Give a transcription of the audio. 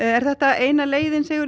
er þetta eina leiðin Sigurður